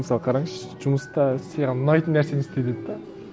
мысалы қараңызшы жұмыста саған ұнайтын нәрсені істе деді де